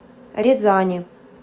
рязани